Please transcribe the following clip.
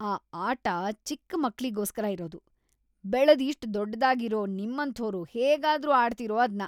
ಆ ಆಟ ಚಿಕ್ಕ ಮಕ್ಳಿಗೋಸ್ಕರ ಇರೋದು. ಬೆಳ್ದ್‌ ಇಷ್ಟ್‌ ದೊಡ್ಡೋರಾಗಿರೋ ನಿಮ್ಮಂಥೋರು ಹೇಗಾದ್ರೂ ಆಡ್ತೀರೋ ಅದ್ನ?